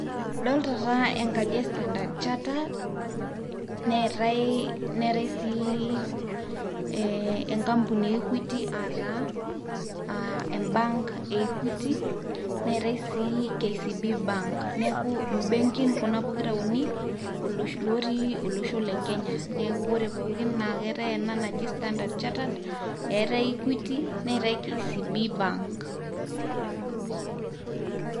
Adolta taa enkaji e standerred chatter, neetai neetai sii ee enkampuni e Equity ataa embank e equity, neeta sii KCB bank. Neeku mbenkin kuna pokir uni ootii olosho le Kenya neeku kore pookin eetai ena naji standerred chattered, neetai Equity, neetai KCB bank.